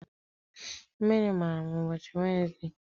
Mmiri mara m ụbọchị Wenesde.